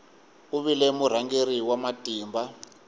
u vile murhangeri wa matimba